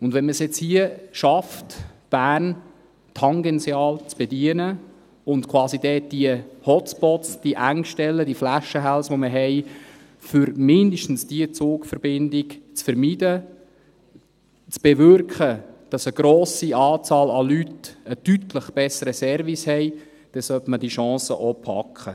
Wenn man es jetzt hier schafft, Bern tangential zu bedienen und quasi die Hotspots, die Engstellen, die Flaschenhälse, die wir haben, für mindestens diese Zugverbindung zu vermeiden, zu bewirken, dass eine grosse Anzahl an Leuten einen deutlich besseren Service hat, dann sollte man diese Chance auch packen.